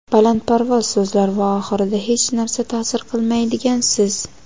balandparvoz so‘zlar va oxirida hechnarsa ta’sir qilmaydigan siz.